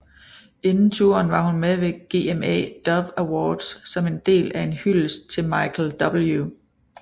Inden touren var hun med ved GMA Dove Awards som en del af en hyldest til Michael W